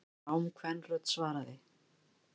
Rám kvenrödd svaraði.